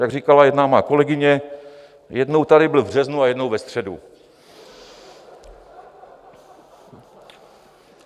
Jak říkala jedna má kolegyně, jednou tady byl v březnu a jednou ve středu.